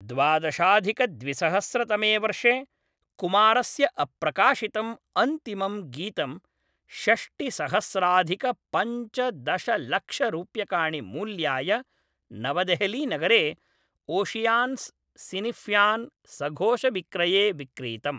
द्वादशाधिकद्विसहस्रतमे वर्षे, कुमारस्य अप्रकाशितम् अन्तिमं गीतं षष्टिसहस्राधिकपञ्चदशलक्षरूप्यकाणि मूल्याय नवदेहलिनगरे ओशियान्स् सिनिफ्यान् सघोषविक्रये विक्रीतम्।